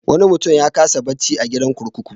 Wani mutum ya kasa bacci a gidan kurkuku.